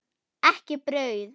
Ekki brauð.